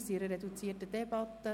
Wir führen eine reduzierte Debatte.